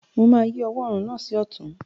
Mo máa yí ọwọ́ orùn náà sí ọ̀tún.